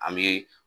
An bɛ